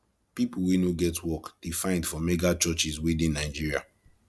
people wey no get work dey find for churches wey dey nigeria